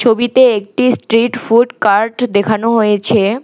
ছবিতে একটি street food cart দেখানো হয়েছে।